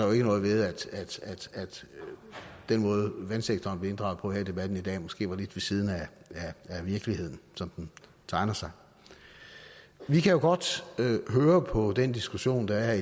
jo ikke noget ved at den måde vandsektoren blev inddraget på i debatten her i dag måske var lidt ved siden af virkeligheden som den tegner sig vi kan jo godt høre på den diskussion der er